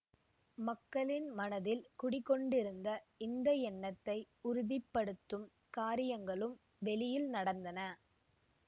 மக்களின் மனத்தில் குடிகொண்டிருந்த இந்த எண்ணத்தை உறுதி படுத்தும் காரியங்களும் வெளியில் நடந்தன